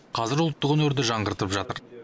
қазір ұлттық өнерді жаңғыртып жатыр